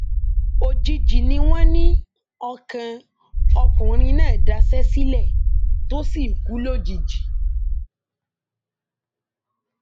òjijì ni wọn ní ọkàn ọkùnrin náà daṣẹ sílẹ tó sì kú lójijì